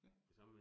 Ja